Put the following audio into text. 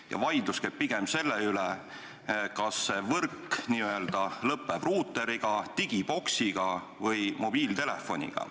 Ja vaidlus käib pigem selle üle, kas võrk n-ö lõpeb ruuteri, digiboksi või mobiiltelefoniga.